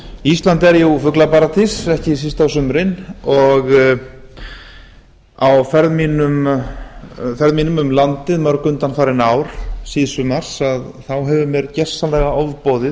ísland er jú fuglaparadís ekki síst á sumrin og á ferðum mínum um landið mörg undanfarin ár síðsumars hefur mér gjörsamlega ofboðið